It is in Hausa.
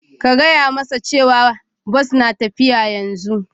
Ka gaya masa cewa Bus na tafiya yanzu